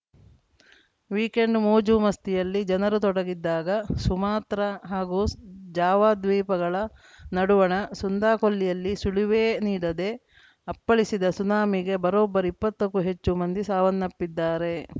weekend ಮೋಜು ಮಸ್ತಿಯಲ್ಲಿ ಜನರು ತೊಡಗಿದ್ದಾಗ ಸುಮಾತ್ರ ಹಾಗೂ ಜಾವಾ ದ್ವೀಪಗಳ ನಡುವಣ ಸುಂದಾ ಕೊಲ್ಲಿಯಲ್ಲಿ ಸುಳಿವೇ ನೀಡದೆ ಅಪ್ಪಳಿಸಿದ ಸುನಾಮಿಗೆ ಬರೋಬ್ಬರಿ ಇಪ್ಪತ್ತಕ್ಕೂ ಹೆಚ್ಚು ಮಂದಿ ಸಾವನ್ನಪ್ಪಿದ್ದಾರೆ